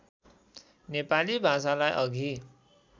नेपाली भाषालाई अघि